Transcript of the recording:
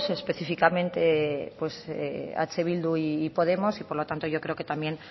específicamente eh bildu y podemos y por lo tanto yo creo que también